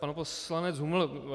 Pan poslanec Huml.